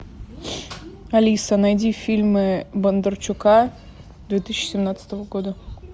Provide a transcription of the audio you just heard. алиса найди фильмы бондарчука две тысячи семнадцатого года